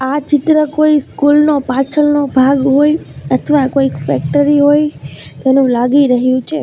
આ ચિત્ર કોઈ સ્કૂલ નો પાછળનો ભાગ હોય અથવા કોઈક ફેક્ટરી હોય તેનું લાગી રહ્યું છે.